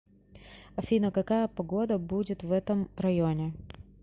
афина какая погода будет в этом районе